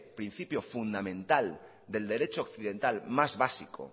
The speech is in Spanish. principio fundamental del derecho occidental más básico